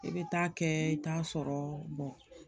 I bɛ taa kɛ i t'a sɔrɔ